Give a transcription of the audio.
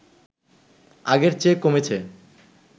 আগের চেয়ে কমেছে